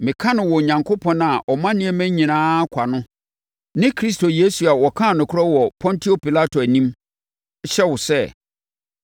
Meka no wɔ Onyankopɔn a ɔma nneɛma nyinaa nkwa no ne Kristo Yesu a ɔkaa nokorɛ wɔ Pontio Pilato anim, hyɛ wo sɛ,